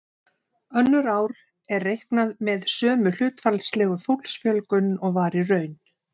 Önnur ár er reiknað með sömu hlutfallslegu fólksfjölgun og var í raun.